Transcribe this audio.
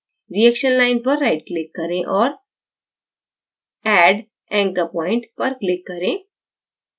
reaction line पर right click करें और add anchor point पर click करें